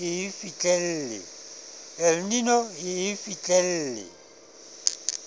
el nino e e fihlelle